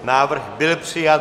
Návrh byl přijat.